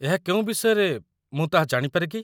ଏହା କେଉଁ ବିଷୟରେ, ମୁଁ ତାହା ଜାଣିପାରେ କି?